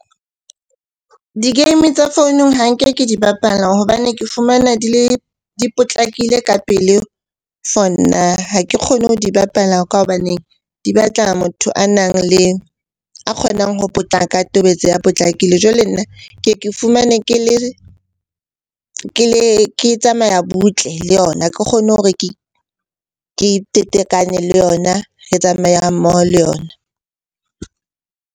Di-game tsa founung ha nke ke di bapala hobane ke fumana di potlakile ka pele for nna. Ha ke kgone ho di bapala ka hobaneng di batla motho a nang le, a kgonang ho potlaka, a tobetsa a potlakile. Jwale nna ke ye ke fumane ke tsamaya butle le yona. Ha ke kgone hore ke le yona, re tsamayang mmoho le yona.